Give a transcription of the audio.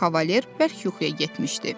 Kavalir bərk yuxuya getmişdi.